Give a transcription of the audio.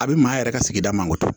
A bɛ maa yɛrɛ ka sigida mangoro